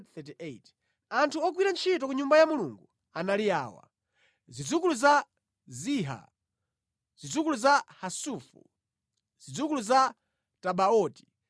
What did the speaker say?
Anthu ogwira ntchito ku Nyumba ya Mulungu anali awa: Zidzukulu za Ziha, zidzukulu za Hasufa, zidzukulu za Tabaoti,